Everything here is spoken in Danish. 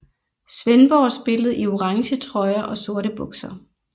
Svendborg spillede i orange trøjer og sorte bukser